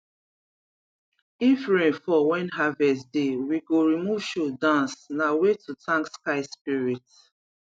if rain fall when harvest deywe go remove shoe dance na way to thank sky spirit